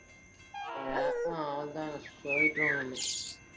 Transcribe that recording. அஹ் உம் அவ்ளோதா